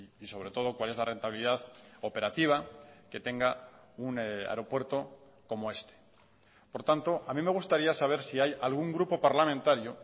y sobre todo cuál es la rentabilidad operativa que tenga un aeropuerto como este por tanto a mí me gustaría saber si hay algún grupo parlamentario